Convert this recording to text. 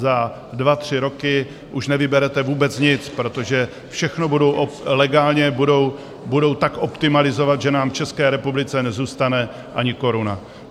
Zda dva tři roky už nevyberete vůbec nic, protože všechno budou legálně tak optimalizovat, že nám v České republice nezůstane ani koruna.